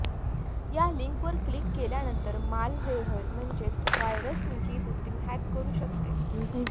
या लिंकवर क्लिक केल्यानंतर मालव्हेअर म्हणजेच व्हायरस तुमची सिस्टिम हॅक करू शकते